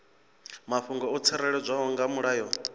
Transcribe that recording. mafhungo o tsireledzwaho nga mulayo